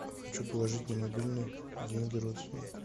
хочу положить на мобильный деньги родственнику